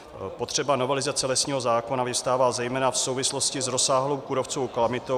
Potřeba novelizace lesního zákona vyvstává zejména v souvislosti s rozsáhlou kůrovcovou kalamitou -